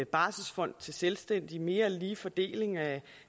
barselsfond til selvstændige en mere lige fordeling af